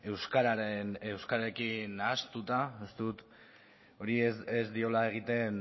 euskararekin nahastuta uste dut horrek ez diola egiten